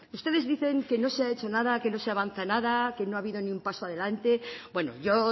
ustedes dicen que no se ha hecho nada que no se avanza nada que no ha habido ni un paso adelante bueno yo